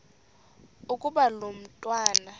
ukuba lo mntwana